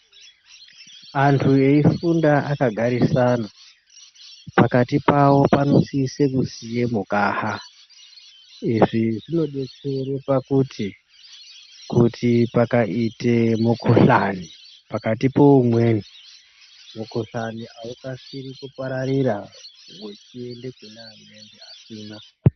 Antu eifunda akagarisana pakati Pavo panosisa kusiya mukaha izvi zvinodetsera pakuti kuti pakaita mukhuhlani pakati peumweni mukhuhlani aukasiri kupararira wechienda kuneamweni asina.